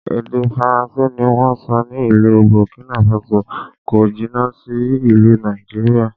Èdè Faransé ni wón ń sọ ní ìlú Bọ̀kínàfasò, kò jìnà sí ìlú Nàìjíríà.